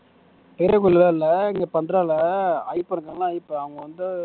பெரிய கொயில்லாம் இல்ல இங்க பண்றாளே அவங்க வந்து